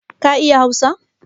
Ka iya hausa?